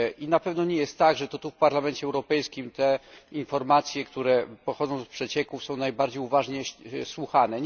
Na pewno nie jest tak, że to tu w Parlamencie Europejskim te informacje, które pochodzą z przecieków, są najbardziej uważnie słuchane.